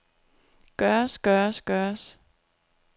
gøres gøres gøres